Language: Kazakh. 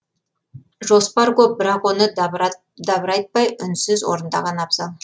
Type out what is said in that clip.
жоспар көп бірақ оны дабырайтпай үнсіз орындаған абзал